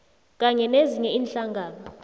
kanye nezinye iinhlangano